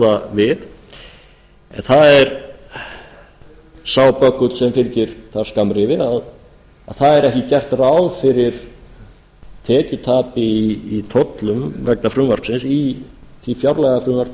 við en það er sá böggull sem fylgir þar skammrifi að það er ekki gert ráð fyrir tekjutapi í tollum vegna frumvarpsins í því fjárlagafrumvarpi